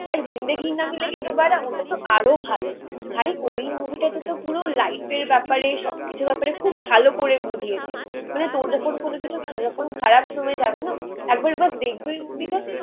আর জিন্দেগি না মিলেগি দোবারা ওটাতো আরও ভালো. ভাই ওই মুভি টাতে তো পুরো লাইফ এর ব্যাপারে সব কিছুর ব্যাপারে খুব ভালো করে বুঝিয়েছে. মানে তোর যখন কোন কিছু যখন খারাপ সময় যাবে না একবার ব্যাস দেখবে ওই মুভি টা